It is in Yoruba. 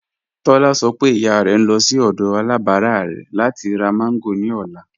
Tólá ṣọ̀ pé ìyà rẹ̀ ń lọ̀ sí ọdọ̀ alábárà rẹ̀ láti rá mango ni ọlá